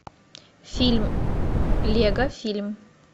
фильм лего фильм